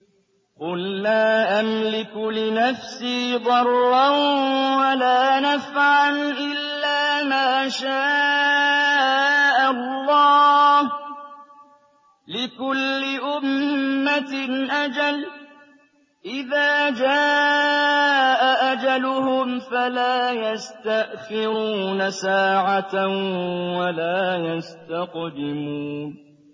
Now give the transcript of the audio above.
قُل لَّا أَمْلِكُ لِنَفْسِي ضَرًّا وَلَا نَفْعًا إِلَّا مَا شَاءَ اللَّهُ ۗ لِكُلِّ أُمَّةٍ أَجَلٌ ۚ إِذَا جَاءَ أَجَلُهُمْ فَلَا يَسْتَأْخِرُونَ سَاعَةً ۖ وَلَا يَسْتَقْدِمُونَ